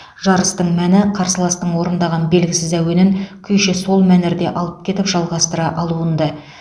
жарыстың мәні қарсыластың орындаған белгісіз әуенін күйші сол мәнерде алып кетіп жалғастыра алуында